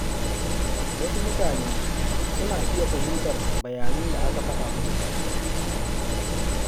Wasu mutane suna iya fahimtar bayanan da aka faɗa musu ba daidai ba.